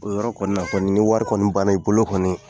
O yɔrɔ kɔni na kɔni, ni wari kɔni banna i bolo kɔni